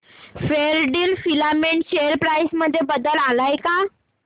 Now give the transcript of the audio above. Fairdeal filament share price मध्ये बदल आलाय का